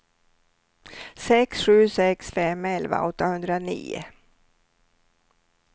sex sju sex fem elva åttahundranio